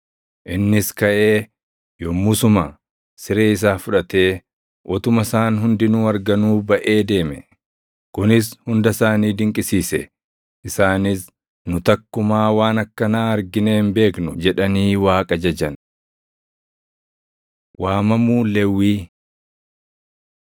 Innis kaʼee, yommusuma siree isaa fudhatee utuma isaan hundinuu arganuu baʼe deeme. Kunis hunda isaanii dinqisiise; isaanis, “Nu takkumaa waan akkanaa arginee hin beeknu!” jedhanii Waaqa jajan. Waamamuu Lewwii 2:14‑17 kwf – Mat 9:9‑13; Luq 5:27‑32